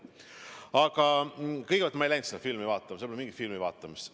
Aga kõigepealt, ma ei läinud sinna filmi vaatama, seal polnud mingit filmivaatamist.